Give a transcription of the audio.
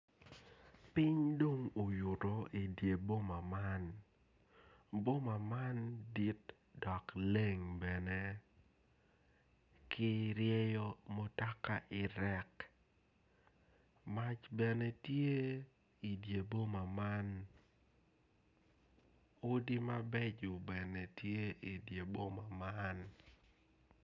Piny dong oyutu i di boma man boma man dit dok leng bene ki ryeyo mutoka irek mac bene tye i di boma man odi mabeco bene tye i di boma man